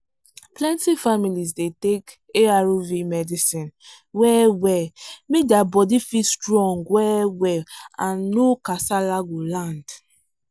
plenty families dey take arv medicine well well make der body fit strong well well and no kasala go land.